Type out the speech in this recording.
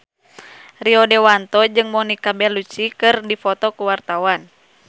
Rio Dewanto jeung Monica Belluci keur dipoto ku wartawan